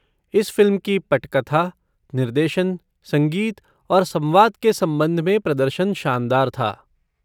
इस फ़िल्म की पटकथा, निर्देशन, संगीत और संवाद के संबंध में प्रदर्शन शानदार था।